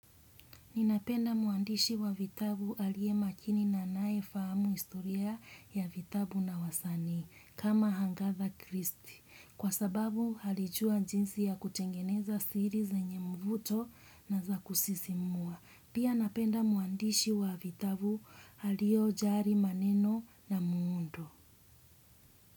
Ninapenda muandishi wa vitabu alie makini na anae fahamu historia ya vitabu na wasanii kama agatha kristy kwa sababu alijua jinsi ya kutengeneza siri zenye mvuto na za kusisimua. Pia napenda muandishi wa vitabu aliojali maneno na muundo.